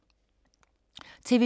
TV 2